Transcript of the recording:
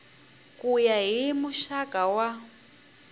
ku ya hi muxaka wa